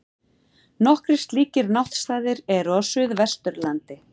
Nokkrir slíkir náttstaðir eru á Suðvesturlandi.